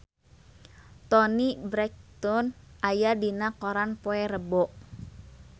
Toni Brexton aya dina koran poe Rebo